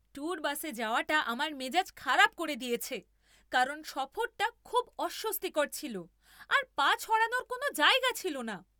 Tour বাসে যাওয়াটা আমার মেজাজ খারাপ করে দিয়েছে, কারণ সফরটা খুব অস্বস্তিকর ছিল আর পা ছড়ানোর কোনও জায়গা ছিল না।